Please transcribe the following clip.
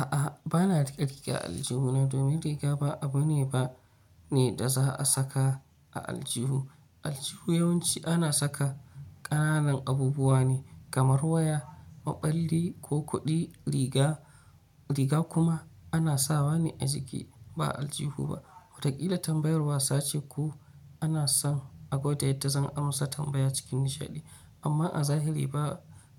A'a ba na rike-riga a aljihu na domin riga ba abu ne ba ne da za a saka a aljihu. Aljihu yawanci ana saka ƙananan abubuwa ne kamar waya, maɓalli ko kuɗi. Riga riga kuma ana sawa ne a jiki ba a aljihu ba. Watakila tambayar wasa ce ko ana son a gwada yadda zan amsa tambaya cikin nishaɗi amma a zahiri ba